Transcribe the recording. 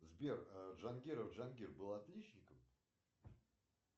сбер джангиров джангир был отличником